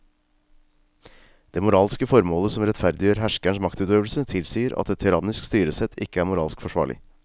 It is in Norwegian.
Det moralske formålet som rettferdiggjør herskerens maktutøvelse tilsier at et tyrannisk styresett ikke er moralsk forsvarlig.